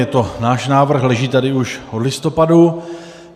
Je to náš návrh, leží tady už od listopadu.